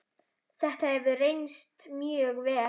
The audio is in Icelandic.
Þetta hefur reynst mjög vel.